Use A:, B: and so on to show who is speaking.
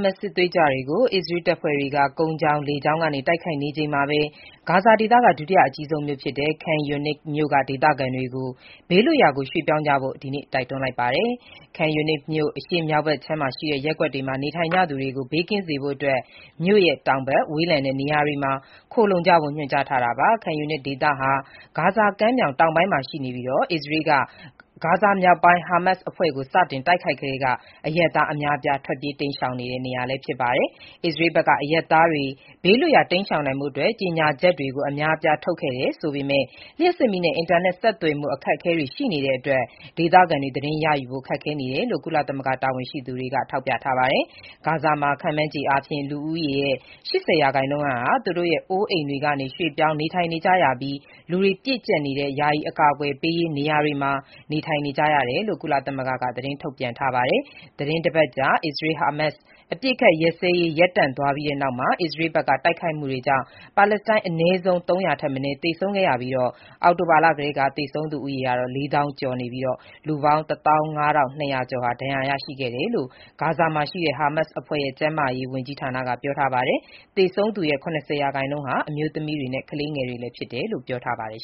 A: မတ်စ် စစ်သွေးကြွတွေကို အစ္စရေးတပ်ဖွဲ့တွေက ကုန်းကြောင်း၊ လေကြောင်း တိုက်ခိုက်နေချိန်မှာပဲ ဂါဇာဒေသက ဒုတိယအကြီးဆုံးမြို့ဖြစ်တဲ့ Khan Younis မြို့ခံတွေကို ဘေးလွတ်ရာကို ပြောင်းရွှေ့ကြဖို့ ဒီနေ့ပဲ တိုက်တွန်းလိုက်ပါတယ်။ Khan Younis မြို့ အရှေ့မြောက်ဘက်ခြမ်းရှိ ရပ်ကွက်တွေမှာ နေထိုင်ကြသူတွေကို ဘေးကင်းစေဖို့အတွက် မြို့ရဲ့တောင်ဘက် ဝေးလံတဲ့နေရာတွေမှာ ခိုလှုံကြဖို့ ညွှန်ကြားထားတာပါ။ Khan Younis ဒေသဟာဂါဇာကမ်းမြောင်တောင်ပိုင်းမှာတည်ရှိပြီး အစ္စရေးက ဂါဇာမြောက်ပိုင်းမှာ ဟာမတ်စ် အဖွဲ့ကို စတင်တိုက်ခိုက်ကတည်းက အရပ်သားအများအပြား ထွက်ပြေးတိမ်းရှောင်နေတဲ့ နေရာလည်း ဖြစ်ပါတယ်။ အစ္စရေးဘက်က အရပ်သားတွေ ဘေးလွတ်ရာတိမ်းရှောင်နိုင်ဖို့အတွက် ကြေညာချက်တွေ အများအပြားထုတ်ခဲ့ တယ်ဆိုပေမဲ့၊ လျှပ်စစ်မီးနဲ့ အင်တာနက် ဆက်သွယ်မှု အခက်အခဲတွေ ရှိနေတဲ့အတွက် ဒေသခံတွေ သတင်းရယူဖို့ ခက်ခဲနတယ်လို့ ကုလသမဂ္ဂ တာဝန်ရှိသူတွေက ထောက်ပြပါတယ်။ ဂါဇာမှာခန့်မှန်းခြေအားဖြင့်လူဦးရေရဲ့ ၈၀ ရာခိုင်နှုန်းဟာ သူတို့ရဲ့ အိုးအိမ်တွေကနေ ရွှေ့ပြောင်းနေထိုင် နေကြရပြီး၊ လူပြည့်ကျပ်နေတဲ့ ယာယီအကာအကွယ်ပေးရေးနေရာတွေမှာ နေထိုင်နေရတယ်လို့ကုလသမဂ္ဂက သတင်းထုတ်ပြန်ထားပါတယ်။ သီတင်းတပတ်ကြာအစ္စရေး-ဟာမတ်စ် အပစ်အခတ်ရပ်စဲရေး ရပ်တန့်သွားပြီးနောက် အစ္စရေးဘက်က တိုက်ခိုက်မှုတွေကြောင့်ပါလက်စတိုင်း အနည်းဆုံး ၃၀၀ ထက်မနည်း သေဆုံးခဲ့ရပြီး၊ အောက်တိုဘာလကတည်းက သေဆုံးသူဦးရေမှာ ၄ သောင်းကျော်ရှိပြီး လူပေါင်း ၁၅,၂၀၀ ကျော် ဒဏ်ရာရရှိခဲ့တယ်လို့ ဂါဇာမှာရှိတဲ့ ဟာမတ်စ်အဖွဲ့ရဲ့ ကျန်းမာရေးဝန်ကြီးဌာနက ပြောပါတယ်။ သေဆုံးသူရဲ့ ၇၀ ရာခိုင်နှုန်းဟာ အမျိုးသမီးတွေနဲ့ ကလေးငယ်တွေဖြစ်တယ်လို့လည်း ပြောပါတယ်